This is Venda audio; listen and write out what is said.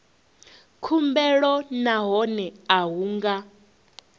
khumbelo nahone a hu nga